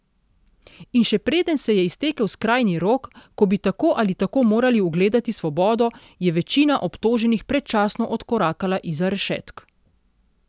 In še preden se je iztekel skrajni rok, ko bi tako ali tako morali ugledati svobodo, je večina obtoženih predčasno odkorakala izza rešetk.